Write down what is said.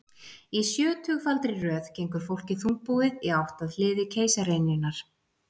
Í sjötugfaldri röð gengur fólkið þungbúið í átt að hliði keisaraynjunnar.